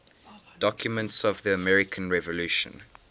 documents of the american revolution